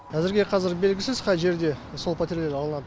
әзірге қазір белгісіз қай жерде сол пәтерлер алынады